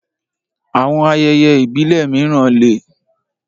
Àwọn ayẹyẹ ìbílẹ̀ mìíràn lè